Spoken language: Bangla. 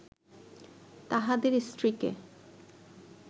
তাঁহাদের স্ত্রীকে